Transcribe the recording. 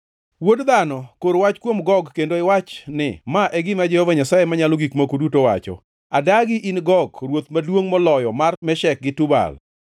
“Wuod dhano, kor wach kuom Gog, kendo iwach ni, ‘Ma e gima Jehova Nyasaye Manyalo Gik Moko Duto wacho: Adagi, in Gog, ruoth maduongʼ moloyo mar Meshek gi Tubal.